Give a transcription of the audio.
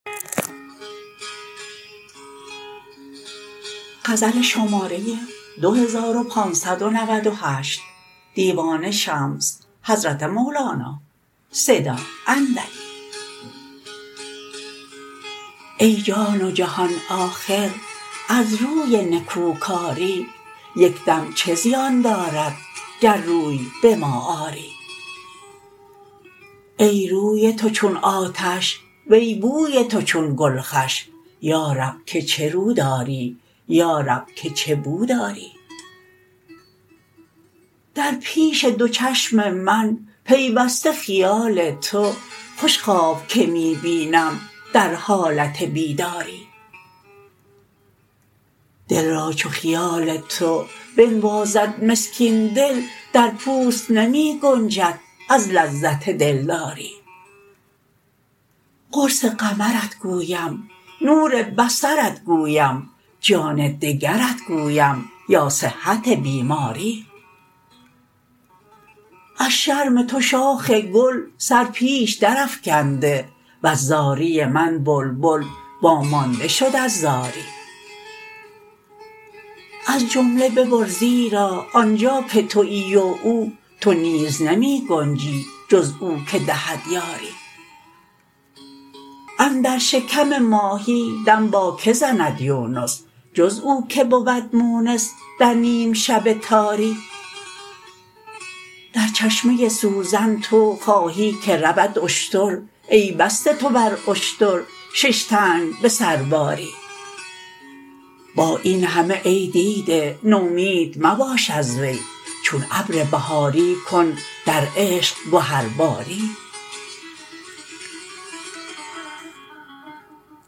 ای جان و جهان آخر از روی نکوکاری یک دم چه زیان دارد گر روی به ما آری ای روی تو چون آتش وی بوی تو چون گل خوش یا رب که چه رو داری یا رب که چه بو داری در پیش دو چشم من پیوسته خیال تو خوش خواب که می بینم در حالت بیداری دل را چو خیال تو بنوازد مسکین دل در پوست نمی گنجد از لذت دلداری قرص قمرت گویم نور بصرت گویم جان دگرت گویم یا صحت بیماری از شرم تو شاخ گل سر پیش درافکنده وز زاری من بلبل وامانده شد از زاری از جمله ببر زیرا آن جا که توی و او تو نیز نمی گنجی جز او که دهد یاری اندر شکم ماهی دم با کی زند یونس جز او کی بود مونس در نیم شب تاری در چشمه سوزن تو خواهی که رود اشتر ای بسته تو بر اشتر شش تنگ به سرباری با این همه ای دیده نومید مباش از وی چون ابر بهاری کن در عشق گهرباری